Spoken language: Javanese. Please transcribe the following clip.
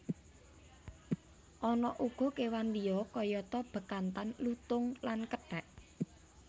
Ana uga kewan liya kayata bekantan lutung lan kethek